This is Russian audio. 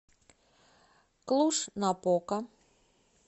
клуж напока